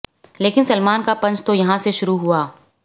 लेकिन सलमान का पंच तो यहां से शुरू हुआ